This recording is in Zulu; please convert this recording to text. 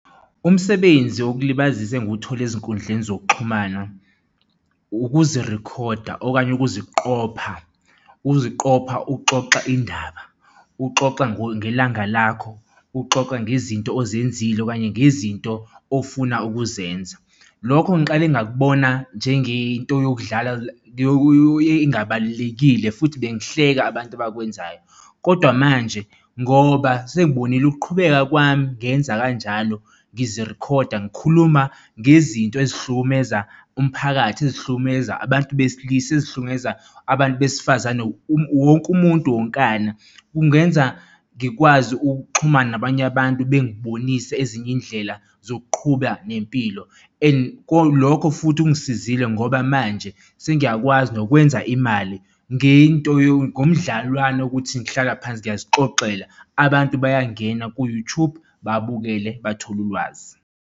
Umsebenzi wokulibazisa engiwuthole ezinkundleni zokuxhumana ukuzirikhoda okanye ukuziqopha, ukuziqopha uxoxa indaba, uxoxa ngelanga lakho, uxoxa ngezinto ozenzile okanye ngezinto ofuna ukuzenza. Lokho ngiqale ngakubona njengento yokudlala engabalulekile futhi bengihleka abantu abakwenzayo kodwa manje ngoba sengibonile ukuqhubeka kwami, ngenza kanjalo ngizirikhoda ngikhuluma ngezinto ezihlukumeza umphakathi, ezihlukumeza abantu besilisa, ezihlukumeza abantu besifazane. Wonke umuntu wonkana kungenza ngikwazi ukuxhumana nabanye abantu, bengibonisa ezinye iy'ndlela zokuqhuba nempilo and lokho futhi kungisizile ngoba manje sengiyakwazi nokwenza imali ngento ngomdlalwane ukuthi ngihlala phansi siyazixoxela, abantu bayangena ku-YouTube babukele bathole ulwazi.